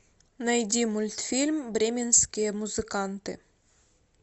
найди мультфильм бременские музыканты